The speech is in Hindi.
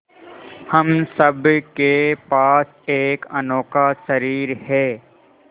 हम सब के पास एक अनोखा शरीर है